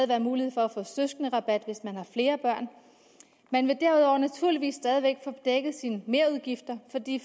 være mulighed for at få søskenderabat hvis man har flere børn man vil derudover naturligvis stadig væk få dækket sine merudgifter